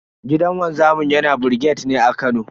Gidan wanzamin yana brigade ne a Kano.